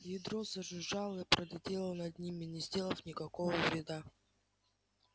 ядро зажужжало и пролетело над ними не сделав никакого вреда